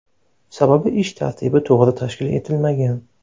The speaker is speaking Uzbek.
Sababi ish tartibi to‘g‘ri tashkil etilmagan.